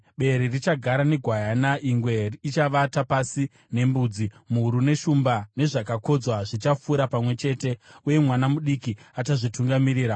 Bere richagara negwayana, ingwe ichavata pasi nembudzi, mhuru neshumba nezvakakodzwa zvichafura pamwe chete; uye mwana mudiki achazvitungamirira.